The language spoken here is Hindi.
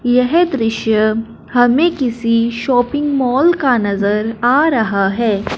यह दृश्य हमें किसी शॉपिंग मॉल का नजर आ रहा है।